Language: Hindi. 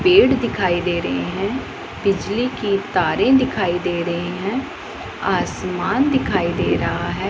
पेड़ दिखाई दे रही है। बिजली की तारे दिखाई दे रहे हैं। आसमान दिखाई दे रहा है।